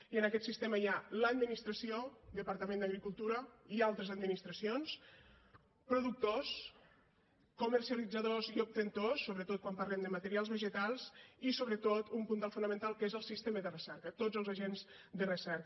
i en aquest sistema hi ha l’administració departament d’agricultura i altres administracions productors comercialitzadors i obtentors sobretot quan parlem de materials vegetals i sobretot un puntal fonamental que és el sistema de recerca tots els agents de recerca